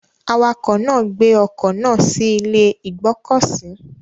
Awakọ̀ náà gbé ọkọ̀ náà sí ilé ìgbọ́kọ̀sí.